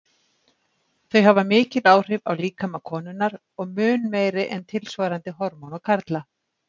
Þau hafa mikil áhrif á líkama konunnar og mun meiri en tilsvarandi hormón á karla.